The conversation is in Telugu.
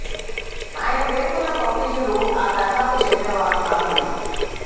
ఆయన పేర్కొన్న కౌటిల్యుడు ఆ తరహాకు చెందిన వారు కాదు మరి